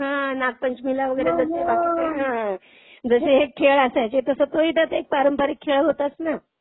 हां, हां, नागपंचमीला वगैरे जसे बकीचे जसे हे खेळ असायचे तसा तो ही त्यात के पारंपरिक खेळ होताच ना?